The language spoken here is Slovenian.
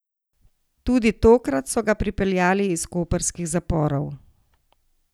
Tudi tokrat so ga pripeljali iz koprskih zaporov.